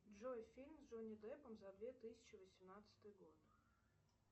джой фильм с джонни деппом за две тысячи восемнадцатый год